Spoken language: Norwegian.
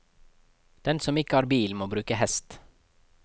Den som ikke har bil, må bruke hest.